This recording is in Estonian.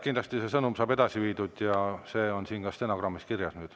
Kindlasti saab see sõnum edasi ja nüüd on see ka stenogrammis kirjas.